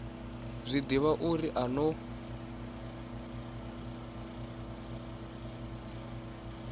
zwi ḓivha uri a vho